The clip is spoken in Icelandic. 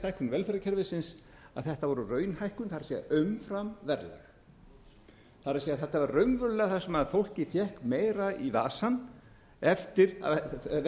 velferðarkerfisins að þetta var raunhækkun það er umfram verðlag þetta var raunverulega það sem fólkið fékk meira í vasann eftir að verðbólgan